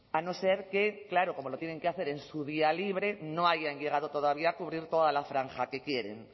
a no ser que claro como lo tienen que hacer en su día libre no hayan llegado todavía a cubrir toda la franja que quieren